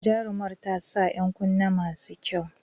Jarumar ta sa ‘yan kunne masu kyau.